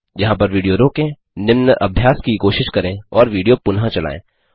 यहाँ पर विडियो रोकें निम्न अभ्यास की कोशिश करें और विडियो पुनः चलायें